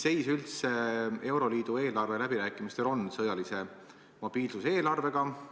Milline seis euroliidu eelarveläbirääkimistel üldse on seoses sõjalise mobiilsuse eelarvega?